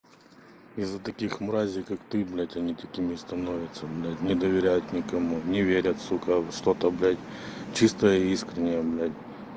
из-за таких мразей как ты блядь они такими становятся блядь не доверяют никому не верят сука во что то блядь чистое и искреннее блядь